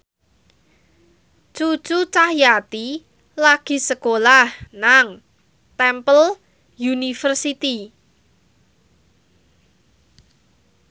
Cucu Cahyati lagi sekolah nang Temple University